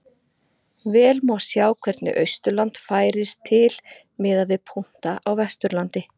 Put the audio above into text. Vel má sjá hvernig Austurland færist til miðað við punkta á Vesturlandi.